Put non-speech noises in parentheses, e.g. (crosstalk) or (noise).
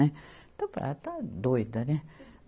(unintelligible) Ela está doida, né?